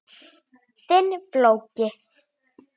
Pabbi var svo margt.